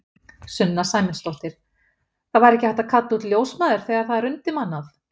Sunna Sæmundsdóttir: Það væri ekki hægt að kalla út ljósmæður þegar það er undirmannað?